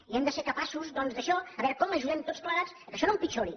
i hem de ser capaços doncs d’això de veure com ajudem tots plegats que això no empitjori